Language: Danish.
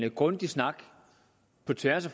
en grundig snak på tværs af